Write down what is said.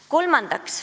Kolmandaks.